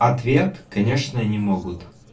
ответ конечно они могут